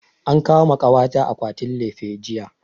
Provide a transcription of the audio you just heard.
An kawo ma kawa ta akwatin lefe jiya